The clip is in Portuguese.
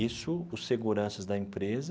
Isso, os seguranças da empresa,